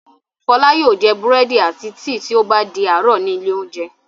Fọlá yóò jẹ búrẹ́dì àti tíì tí ó bá di àárọ̀ ní ilé-oúnjẹ.